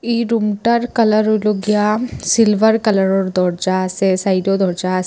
এই রুমটার কালার হইলো গিয়া সিলভার কালারের দরজা আসে সাইটেও দরজা আসে।